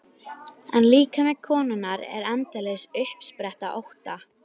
En líkami konunnar er endalaus uppspretta ótta.